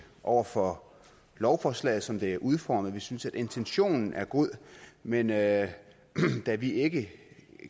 over for lovforslaget som det er udformet vi synes at intentionen er god men da vi ikke